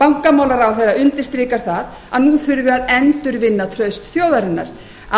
bankamálaráðherra undirstrikar að nú þurfi að endurvinna traust þjóðarinnar